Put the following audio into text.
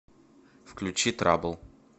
включи трабл